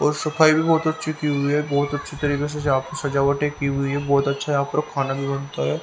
और सफाई भी बहुत अच्छी की हुई है बहुत अच्छी तरीके से यहां पर सजावटें की हुई है बहुत अच्छा यहां पर खाना भी बनता है।